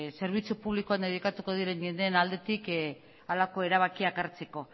zerbitzu publikoan dedikatuko diren jendeen aldetik halako erabakiak hartzeko